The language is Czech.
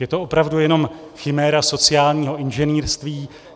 Je to opravdu jenom chiméra sociálního inženýrství.